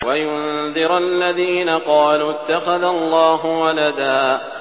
وَيُنذِرَ الَّذِينَ قَالُوا اتَّخَذَ اللَّهُ وَلَدًا